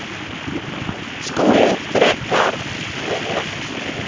SKÚLI: Frekar heilagt stríð!